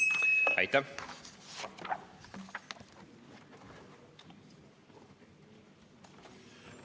Aitäh!